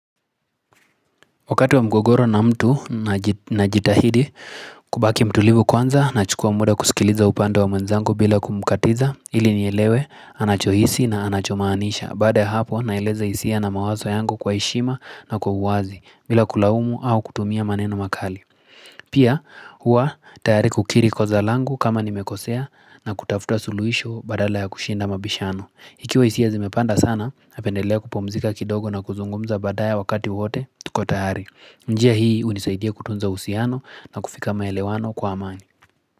Wakati wa mgogoro na mtu na jitahidi kubaki mtulivu kwanza nachukua muda kusikiliza upande wa mwenzangu bila kumukatiza ili nielewe anachohisi na anachomaanisha baada ya hapo na eleza hisia na mawazo yangu kwa hishima na kwa uwazi bila kulaumu au kutumia maneno makali. Pia huwa tayari kukiri kosa langu kama nimekosea na kutafuta suluhisho badala ya kushinda mabishano. Ikiwa hisia zimepanda sana, napendelea kupumzika kidogo na kuzungumza badaye wakati wote tuko tayari. Njia hii hunisaidia kutunza uhusiano na kufika maelewano kwa amani.